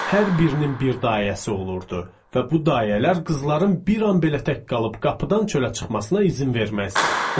Hər birinin bir dayəsi olurdu və bu dayələr qızların bir an belə tək qalıb qapıdan çölə çıxmasına izin verməzdi.